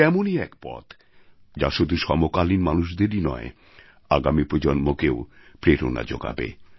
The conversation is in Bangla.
সে এমনই এক পথ যা শুধু সমকালীন মানুষদেরই নয় আগামী প্রজন্মকেও প্রেরণা যোগাবে